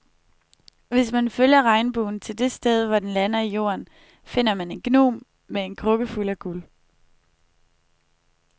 Hvis man følger regnbuen til det sted, hvor den lander i jorden, finder man en gnom med en krukke fuld af guld.